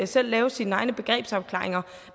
selv lave sine egne begrebsafklaringer